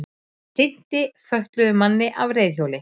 Hrinti fötluðum manni af reiðhjóli